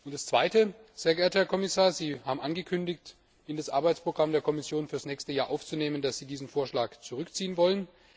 Die zweite Frage Sehr geehrter Herr Kommissar, Sie haben angekündigt, in das Arbeitsprogramm der Kommission für das nächste Jahr aufzunehmen, dass Sie diesen Vorschlag zurückziehen wollen.